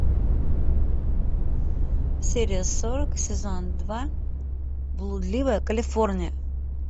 серия сорок сезон два блудливая калифорния